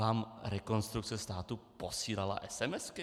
Vám Rekonstrukce státu posílala esemesky?